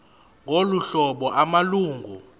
ngolu hlobo amalungu